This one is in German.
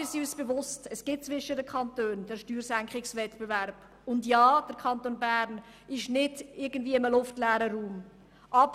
Wir sind uns bewusst, dass es zwischen den Kantonen den Steuerwettbewerb gibt und sich der Kanton Bern nicht in einem luftleeren Raum befindet.